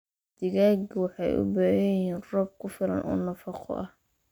Digaagga waxay u baahan yihiin roob ku filan oo nafaqo ah.